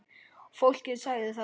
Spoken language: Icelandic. Fólkið sagði það.